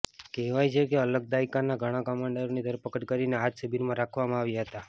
કહેવાય છે કે અલકાયદાના ઘણા કમાંડરોની ધરપકડ કરીને આ જ શિબિરમાં રાખવામાં આવ્યા હતા